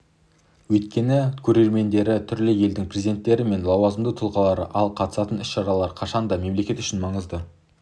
өйткені көрермендері түрлі елдің президенттері мен лауазымды тұлғалары ал қатысатын іс-шаралары қашан да мемлекет үшін маңызды